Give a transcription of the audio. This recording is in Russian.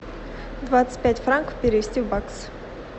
двадцать пять франков перевести в баксы